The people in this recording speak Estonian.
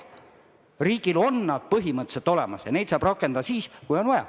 Riigil on need põhimõtteliselt olemas ja neid saab rakendada siis, kui on vaja.